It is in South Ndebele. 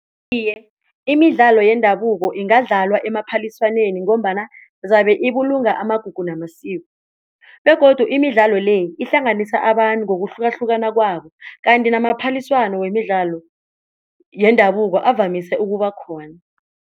Iye, imidlalo yendabuko ingadlalwa emaphaliswaneni ngombana zabe ibulungo amagugu namasiko begodu imidlalo le ihlanganisa abantu ngokuhlukahlukana kwabo kanti namaphaliswano wemidlalo yendabuko avamise ukubakhona.